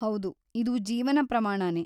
ಹೌದು, ಇದು ಜೀವನ ಪ್ರಮಾಣನೇ.